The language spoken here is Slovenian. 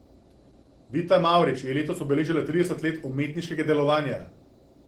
Vita Mavrič je letos obeležila trideset let umetniškega delovanja.